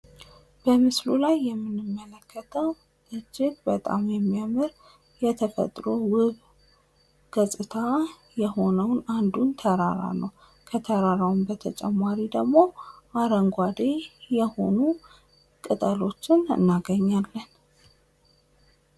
በምስሉ ላይ የምንመለከተው እጅግ በጣሊያን የሚያምር የተፈጥሮ ውብ ገጽታ የሆነው አንዱን ተራራ ነው ከተራራው በተጨማሪ ደግሞ አረንጓዴ የሆኑ ቅጠሎችን እንመለከታለን።